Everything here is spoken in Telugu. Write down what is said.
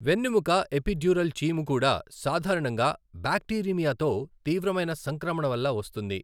వెన్నెముక ఎపిడ్యూరల్ చీము కూడా సాధారణంగా బాక్టీరిమియాతో తీవ్రమైన సంక్రమణ వల్ల వస్తుంది.